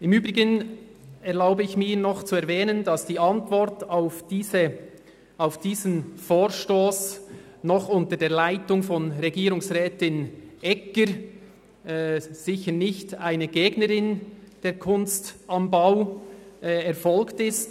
Im Übrigen erlaube ich mir noch zu erwähnen, dass die Antwort auf diesen Vorstoss noch unter der Leitung von Regierungsrätin Egger, sicher nicht einer Gegnerin von «Kunst am Bau», erfolgt ist.